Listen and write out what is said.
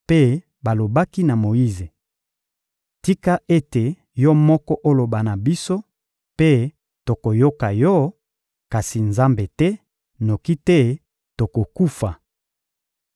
mpe balobaki na Moyize: — Tika ete yo moko oloba na biso, mpe tokoyoka yo; kasi Nzambe te, noki te tokokufa!